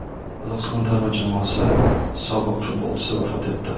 Qozog‘iston terma jamoasi sobiq futbolchisi vafot etdi.